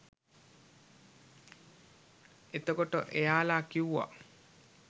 එතකොට එයාලා කිව්වා